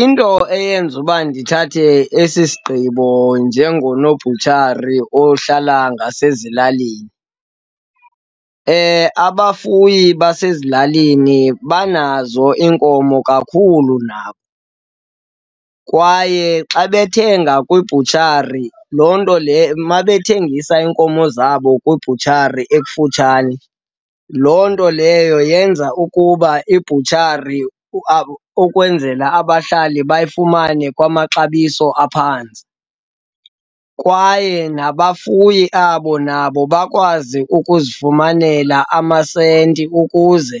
Into eyenza uba ndithathe esi sigqibo njengonobhutshari ohlala ngasezilalini, abafuyi basezilalini banazo iinkomo kakhulu nabo kwaye xa bethenga kwibhutshari, loo nto mabethengisile iinkomo zabo kwibhutshari ekufutshane, loo nto leyo yenza ukuba ibutshari ukwenzela abahlali bayifumane kwamaxabiso aphantsi. Kwaye nabafuyi abo nabo bakwazi ukuzifumanela amasenti ukuze